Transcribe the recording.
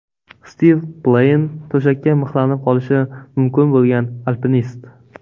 Stiv Pleyn, to‘shakka mixlanib qolishi mumkin bo‘lgan alpinist.